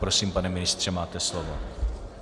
Prosím, pane ministře, máte slovo.